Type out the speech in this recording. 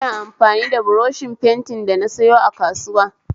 Ina amfani da buroshin fentin da nasayo a kasuwa